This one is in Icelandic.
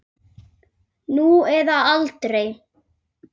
Nú eða aldrei.